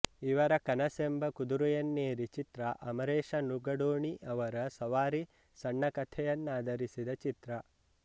ಇವರ ಕನಸೆಂಬ ಕುದುರೆಯನೇರಿ ಚಿತ್ರ ಅಮರೇಶ ನುಗಡೋಣಿ ಅವರ ಸವಾರಿ ಸಣ್ಣಕಥೆಯನ್ನಾಧರಿಸಿದ ಚಿತ್ರ